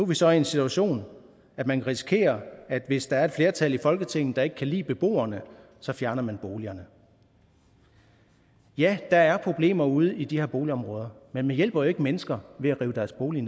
vi så i en situation at man risikerer at hvis der er et flertal i folketinget der ikke kan lide beboerne så fjerner man boligerne ja der er problemer ude i de her boligområder men man hjælper jo ikke mennesker ved at rive deres bolig